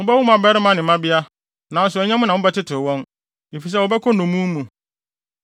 Mobɛwo mmabarima ne mmabea, nanso nyɛ mo na mobɛtetew wɔn, efisɛ wɔbɛkɔ nnommum mu.